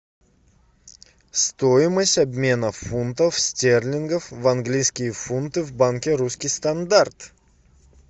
стоимость обмена фунтов стерлингов в английские фунты в банке русский стандарт